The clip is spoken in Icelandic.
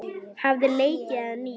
Hafið leikinn að nýju.